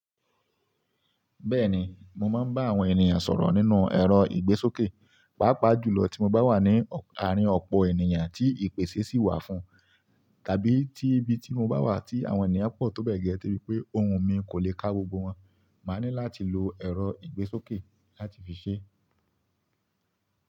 Bẹ́ẹ̀ni, mo máa ń bá àwọn ènìyàn sọ̀rọ̀ nínú ẹ̀rọ ìgbésókè, pàápàá jùlọ tí mo bá wà ní àárín ọ̀pọ̀ ènìyàn tí ìpèsée sì wà fún, tàbí tí ibi tí mo bá wà tí àwọn ènìyàn pọ̀ tó bẹ́gẹ́, de bi pé ohùn mi kò lè ká gbogbo wọn, màá ní láti lo ẹ̀rọ ìgbésókè láti fi ṣe é.